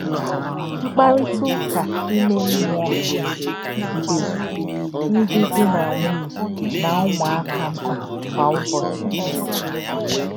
Mkpà̄rị̣tà̄ ūkà̄ um ímè̄ mmú̄ọ̄ dị́ ndí̄ dí̄ nā̄ nwụ̀nyé̄ nā̄ ṹmùá̄kpá̄ mkpá̄ kwā um ụ́bọ̀chí̄.